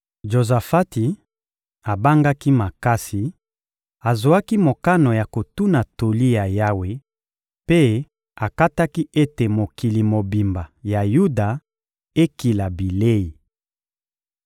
Jozafati abangaki makasi; azwaki mokano ya kotuna toli ya Yawe mpe akataki ete mokili mobimba ya Yuda ekila bilei.